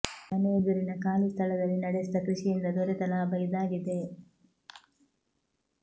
ಮನೆ ಎದುರಿನ ಖಾಲಿ ಸ್ಥಳದಲ್ಲಿ ನಡೆಸಿದ ಕೃಷಿಯಿಂದ ದೊರೆತ ಲಾಭ ಇದಾಗಿದೆ